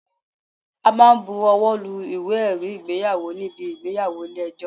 A máa bu owó lu Ìwé ẹ̀rí ìgbéyàwó níbi ìgbéyàwó ilé ẹjọ́.